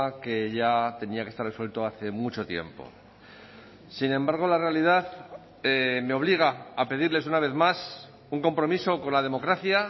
que ya tenía que estar resuelto hace mucho tiempo sin embargo la realidad me obliga a pedirles una vez más un compromiso con la democracia